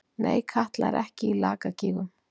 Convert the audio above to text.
Nei, Katla er ekki í Lakagígum.